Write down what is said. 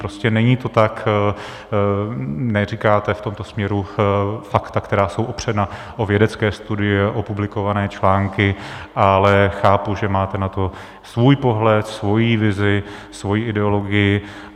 Prostě není to tak, neříkáte v tomto směru fakta, která jsou opřena o vědecké studie, o publikované články, ale chápu, že máte na to svůj pohled, svoji vizi, svoji ideologii.